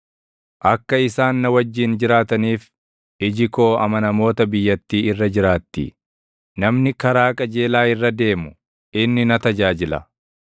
Akka isaan na wajjin jiraataniif, iji koo amanamoota biyyattii irra jiraatti; namni karaa qajeelaa irra deemu, inni na tajaajila.